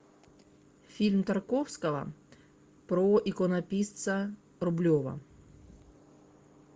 фильм тарковского про иконописца рублева